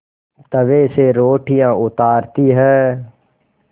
तवे से रोटियाँ उतारती हैं